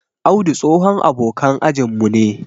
Audu tsohon abokan ajin mu ne.